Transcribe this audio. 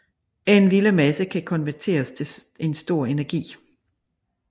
En lille masse kan konverteres til en stor energi